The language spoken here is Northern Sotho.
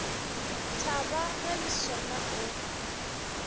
thaba ge le sona o